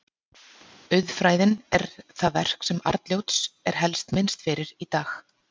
Auðfræðin er það verk sem Arnljóts er helst minnst fyrir í dag.